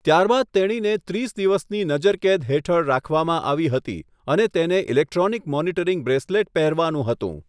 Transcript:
ત્યારબાદ તેણીને ત્રીસ દિવસની નજરકેદ હેઠળ રાખવામાં આવી હતી અને તેને ઇલેક્ટ્રોનિક મોનિટરિંગ બ્રેસલેટ પહેરવાનું હતું.